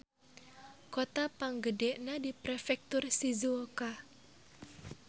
Kota panggedena di Prefektur Shizuoka.